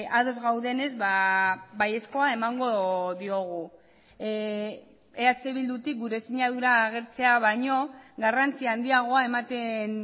ados gaudenez baiezkoa emango diogu eh bildutik gure sinadura agertzea baino garrantzi handiagoa ematen